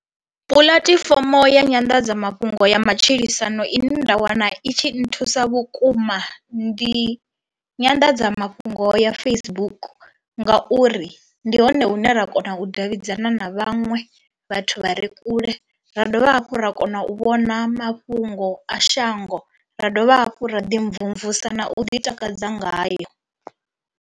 Puḽatifomo ya nyanḓadzamafhungo ya matshilisano ine nda wana i tshi nthusa vhukuma ndi nyanḓadzamafhungo ya Facebook ngauri ndi hone hune ra kona u davhidzana na vhaṅwe vhathu vha re kule, ra dovha hafhu ra kona u vhona mafhungo a shango ra dovha hafhu ra ḓi mvumvusa na u ḓi takadza ngayo.